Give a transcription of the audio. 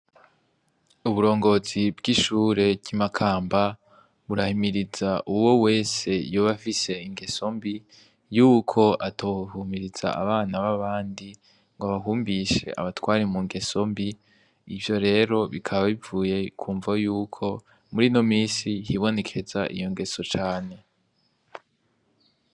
Uburongozi bw'ishure ry'imakamba burahimiriza uwo wese yoba afise ingeso mbi yuko atohumiriza abana b'abandi ngo bahumbishe abatwari mu ngeso mbi ivyo rero bikaba bivuye ku mvo yuko muri no misi hibonekeza iyo eso cane.